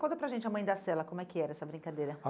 Conta para a gente a Mãe da Sela, como é que era essa brincadeira? A